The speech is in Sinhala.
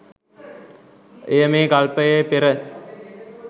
එය මේ කල්පයේ පෙර